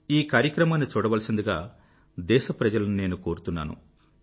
ఈ కార్యక్రమాన్ని చూడవలసిందిగా దేశప్రజలను నేను కోరుతున్నాను